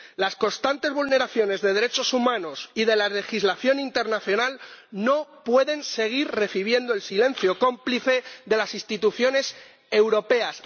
Las constantes vulneraciones de derechos humanos y de la legislación internacional no pueden seguir siendo recibidas con el silencio cómplice de las instituciones europeas.